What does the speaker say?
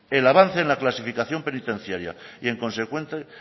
el avance en la clasificación penitenciaria y en consecuencia